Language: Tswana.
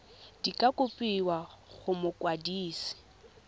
di ka kopiwa go mokwadise